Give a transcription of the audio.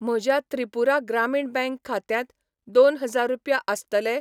म्हज्या त्रिपुरा ग्रामीण बँक खात्यांत दोन हजार रुपया आसतले ?